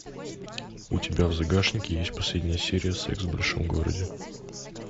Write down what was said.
у тебя в загашнике есть последняя серия секс в большом городе